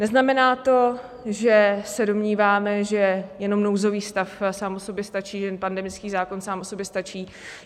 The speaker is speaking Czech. Neznamená to, že se domníváme, že jenom nouzový stav sám o sobě stačí, že jen pandemický zákon sám o sobě stačí.